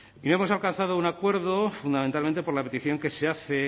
y hemos alcanzado un acuerdo fundamentalmente por la petición que se hace